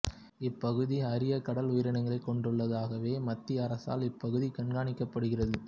இப்பகுதி அரிய கடல் உயிரினங்களை கொண்டுள்ளது ஆகவே மத்திய அரசால் இப்பகுதி கண்காணிக்கப்படுகிறது